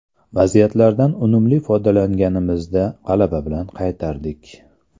Vaziyatlardan unumli foydalanganimizda g‘alaba bilan qaytardik.